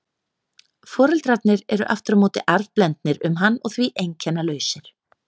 Foreldrarnir eru aftur á móti arfblendnir um hann og því einkennalausir.